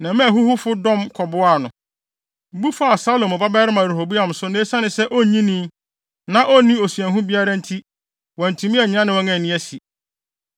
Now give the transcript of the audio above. Na ɛmaa ahuhufo dɔm kɔboaa no, bu faa Salomo babarima Rehoboam so na esiane sɛ na onnyinii, na onni osuahu biara nti, wantumi annyina ne wɔn anni asi.